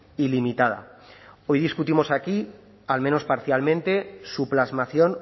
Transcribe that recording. ilimitada hoy discutimos aquí al menos parcialmente su plasmación